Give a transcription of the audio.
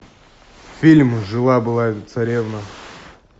фильм жила была царевна